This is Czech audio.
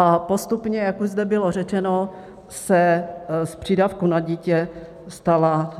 A postupně, jak už zde bylo řečeno, se z přídavku na dítě stala